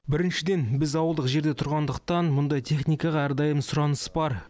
біріншіден біз ауылдық жерде тұрғандықтан мұндай техникаға әрдайым сұраныс бар